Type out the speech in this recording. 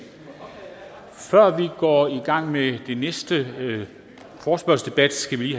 før vi går i gang med den næste forespørgselsdebat skal vi